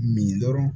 Min dɔrɔn